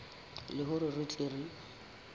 le hore re tle re